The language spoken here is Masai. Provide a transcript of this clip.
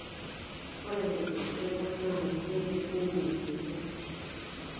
Ore legislators naa ninche oiger neimie sheria.